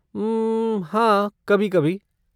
उम्म, हाँ कभी कभी।